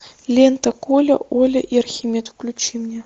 лента коля оля и архимед включи мне